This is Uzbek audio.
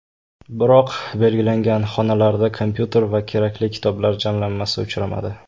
Biroq belgilangan xonalarda kompyuter va kerakli kitoblar jamlanmasi uchramadi.